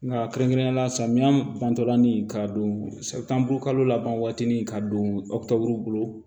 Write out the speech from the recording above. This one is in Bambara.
Nka kɛrɛnkɛrɛnnenya la samiya bantɔla ni ka don kalo laban waati ni ka don bolo